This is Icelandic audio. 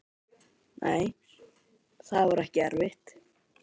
Nei, það var ekki erfitt.